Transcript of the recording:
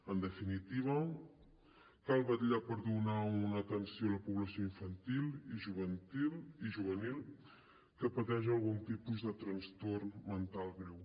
en definitiva cal vetllar per donar una atenció a la població infantil i juvenil que pateix algun tipus de trastorn mental greu